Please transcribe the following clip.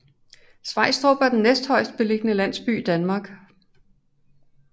Svejstrup er den næsthøjestbelligende landsby i Danmark